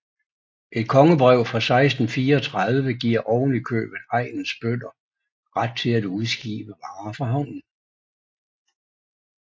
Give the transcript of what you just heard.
Et kongebrev fra 1634 giver oven i købet egnens bønder ret til at udskibe varer fra havnen